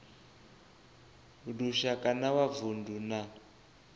lushaka na wa vundu na